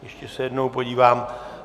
Ještě se jednou podívám.